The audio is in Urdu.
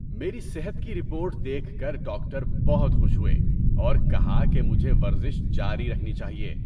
میری صحت کی رپورٹ دیکھ کر ڈاکٹر بہت خوش ہوئے اور کہا کہ مجھے ورزش جاری رکھنی چاہیے۔